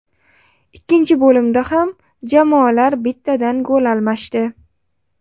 Ikkinchi bo‘limda ham jamoalar bittadan gol almashdi.